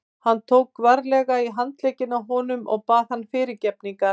Hann tók varlega í handlegginn á honum og bað hann fyrirgefningar.